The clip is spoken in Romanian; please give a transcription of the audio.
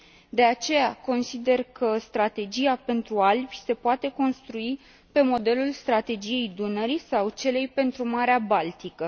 De aceea, consider că Strategia pentru Alpi se poate construi pe modelul Strategiei Dunării sau a celei pentru Marea Baltică.